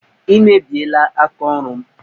Ị mebiela aka ọrụ m!